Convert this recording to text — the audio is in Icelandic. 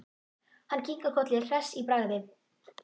Hann kinkar kolli hress í bragði.